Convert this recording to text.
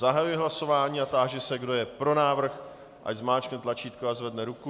Zahajuji hlasování a táži se, kdo je pro návrh, ať zmáčkne tlačítko a zvedne ruku.